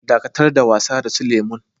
Dakatar da wasa da su lemu'n!